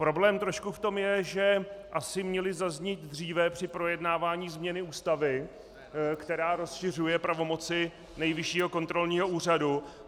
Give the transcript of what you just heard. Problém trošku v tom je, že asi měly zaznít dříve při projednávání změny Ústavy, která rozšiřuje pravomoci Nejvyššího kontrolního úřadu.